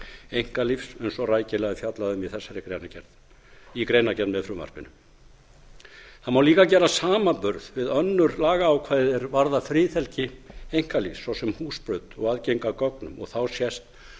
einkalífs eins og rækilega er fjallað um í greinargerð með frumvarpinu það má líka gera samanburð við önnur lagaákvæði er varða friðhelgi einkalífs svo sem húsbrot og aðgengi að gögnum og þá sést